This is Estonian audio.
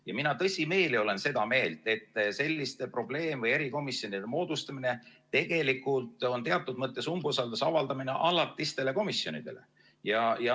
Ja mina tõsimeeli olen seda meelt, et selliste probleem- või erikomisjonide moodustamine on teatud mõttes umbusalduse avaldamine alatistele komisjonidele.